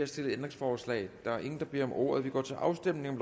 stillet ændringsforslag der er ingen der beder om ordet og vi går til afstemning